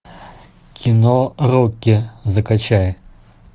кино рокки закачай